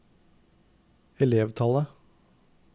elevtallet